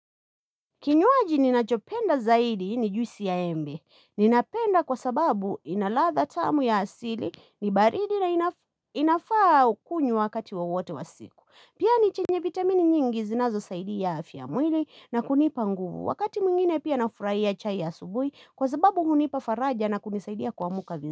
Kinywaji ninachopenda zaidi ni juisi ya embe. Ninapenda kwa sababu ina ladha tamu ya asili ni baridi na inafaa kunywa wakati wowote wa siku. Pia ni chenye vitamini nyingi zinazosaidi afya ya mwili na kunipa nguvu. Wakati mwingine pia nafurahia chai ya asubuhi kwa sababu hunipa faraja na kunisaidia kuamka vizuri.